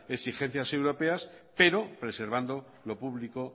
exigencias europeas pero preservando lo público